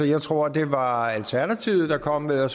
jeg tror at det var alternativet der kom med at